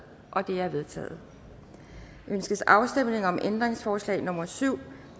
det er vedtaget ønskes afstemning om ændringsforslag nummer syv